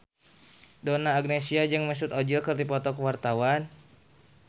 Donna Agnesia jeung Mesut Ozil keur dipoto ku wartawan